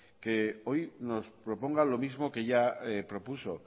que hoy nos proponga lo mismo que ya propuso